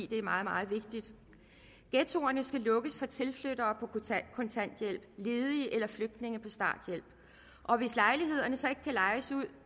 det er meget meget vigtigt ghettoerne skal lukkes for tilflyttere på kontanthjælp ledige eller flygtninge på starthjælp og hvis lejlighederne så ikke kan lejes ud